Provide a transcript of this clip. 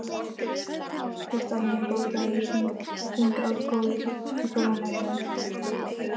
Guttormur, bókaðu hring í golf á mánudaginn.